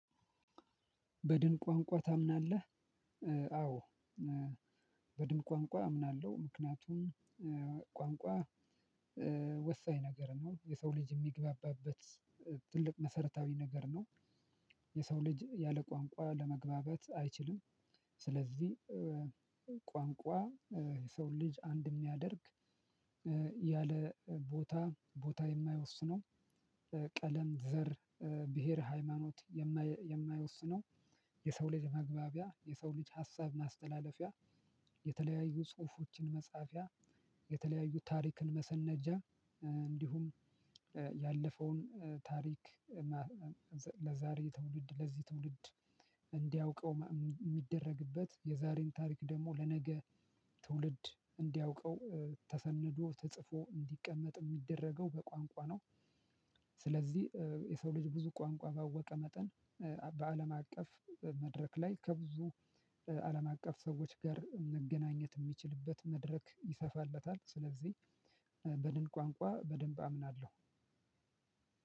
በድን ቋንቋ ታምናለህ? አዎ በድን ቋንቋ አምናለሁ ምክንያቱም ቋንቋ ወሳኝ ነገር ነው የሰው ልጅ የሚግባባበት ትልቅ መሰረታዊ ነገር ነው። የሰው ልጅ ያለ ቋንቋ ለመግባባት አይችልም። ስለዚህ ቋንቋ የሰው ልጅ አንድ የሚያደርግ ያለ ቦታ ቦታ የማይወስነው ቀለም ዘር ብሄር ሃይማኖት የማይወስነው የሰው ልጅ መግባቢያ የሰው ልጅ ሀሳብ ማስተላለፊያ የተለያዩ ጽሁፎችን መጻፊያ የተለያዩ ታሪክን መሰነጃ እንዲሁም ያለፈውን ታሪክ ለዛሬ ትውልድ ለዚህ ትውልድ እንዲያውቀው ሚደረግበት የዛሬን ታሪክ ደግሞ ለነገ ትውልድ እንዲያውቀው ተሰንዶ ተጽፎ እንዲቀመጥ የሚደረገው በቋንቋ ነው። ስለዚህ የሰው ልጅ ብዙ ቋንቋ ባወቀ መጠን በአለም አቀፍ መድረክ ላይ ከብዙ አለም አቀፍ ሰዎች ጋር መገናኘት የሚችልበት መድረክ ይሰፋለታል ስለዚህ በደንብ ቋንቋ በደንብ አምናለሁ።